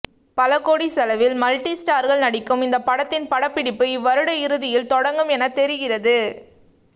பலகோடி செலவில் மல்டி ஸ்டார்கள் நடிக்கும் இந்த படத்தின் படப்பிடிப்பு இவ்வருட இறுதியில் தொடங்கும் என தெரிகிறது